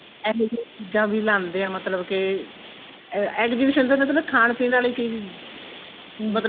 ਇਹੋ ਜੀਆਂ ਚੀਜ਼ਾਂ ਵੀ ਲਾਂਦੇ ਏ ਮਤਲਬ ਕੇ exhibition ਤੇ ਮਤਲਬ ਖਾਣ ਪੀਣ ਵਾਲੀ ਚੀਜ਼ ਮਤਲਬ